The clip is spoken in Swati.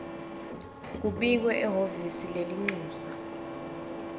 kubikwe ehhovisi lelincusa